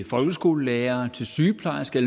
folkeskolelærere til sygeplejersker